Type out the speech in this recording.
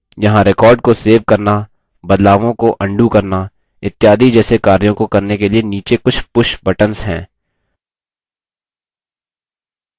यहाँ record को save करना बदलावों को अन्डू करना इत्यादि जैसे कार्यों को करने के लिए नीचे कुछ push buttons हैं